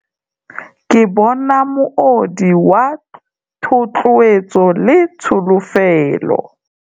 Ke bona moodi wa thotloetso le tsholofelo.